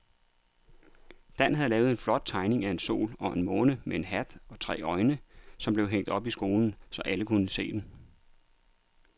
Dan havde lavet en flot tegning af en sol og en måne med hat og tre øjne, som blev hængt op i skolen, så alle kunne se den.